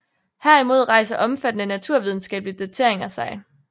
Herimod rejser omfattende naturvidenskabelige dateringer sig